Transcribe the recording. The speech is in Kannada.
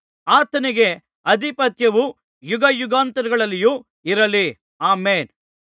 ಆತನಿಗೆ ಅಧಿಪತ್ಯವು ಯುಗಯುಗಾಂತರಗಳಲ್ಲಿಯೂ ಇರಲಿ ಆಮೆನ್